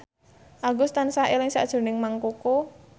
Agus tansah eling sakjroning Mang Koko